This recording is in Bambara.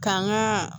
K'an ka